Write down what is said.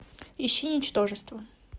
ищи ничтожество